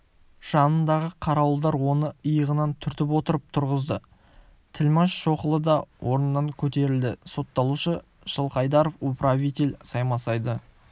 жанындағы қарауылдар оны иығынан түртіп отырып тұрғызды тілмаш шоқұлы да орнынан көтерілді сотталушы жылқайдаров управитель саймасайды